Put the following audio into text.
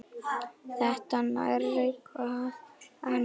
Þetta nærir hvað annað.